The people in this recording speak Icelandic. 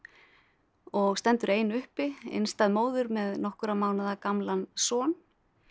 og stendur ein uppi einstæð móðir með nokkurra mánaða gamlan son